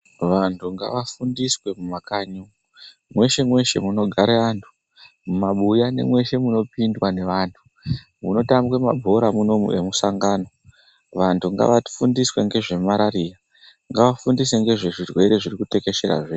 Vantu ngava fundiswe mumakanyi umwu, mweshe mweshe munogare antu, mumabuya nemweshe muno pindwa ngevantu, muno tambwe mabhora munoumu emusangano, vantu ngava fundiswe ngezve marariya, ngava fundiswe ngezve zvirwere zvirikute kesherazve.